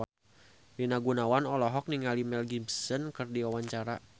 Rina Gunawan olohok ningali Mel Gibson keur diwawancara